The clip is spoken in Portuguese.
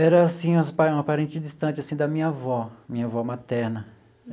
Era, assim as pa parente distante, assim, da minha avó, minha avó materna.